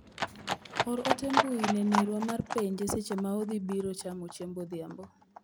or ote mbui ne nerwa mar penje seche ma odhi biro chamo chiemb odhiambo.